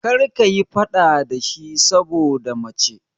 Kar ka yi faɗa da shi saboda mace!